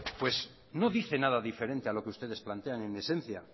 pues no dice nada diferente a lo que ustedes plantean en esencia